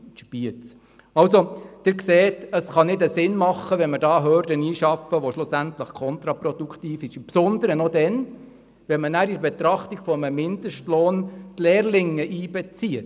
Sie sehen also, es kann keinen Sinn machen, da eine Hürde einzubauen, die schlussendlich kontraproduktiv ist, besonders dann, wenn man nachher noch die Lehrlinge in die Betrachtung eines Mindestlohns einbezieht.